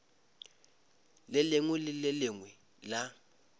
lengwe le le lengwe la